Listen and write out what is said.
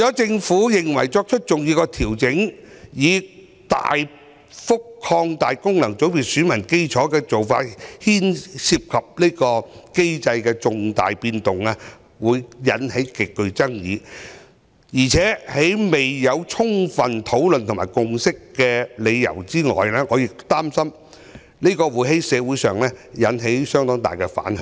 政府認為作出重大調整，大幅擴大功能界別選民基礎的做法涉及對機制的重大改動，會引發極大爭議，在未有充分討論和達成共識前，我擔心會引起社會相當大的反響。